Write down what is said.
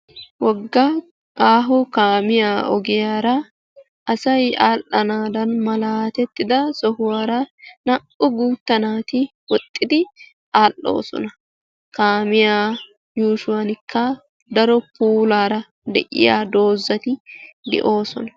Wogga aaho kaamiya ogiyara asay aadhdhanaadan malaatettida sohuwara naa"u guutta naati woxxidi aadhdhoosona. Kaamiya yuushuwaanikka daro puulaara de'iya doozati de'oosona.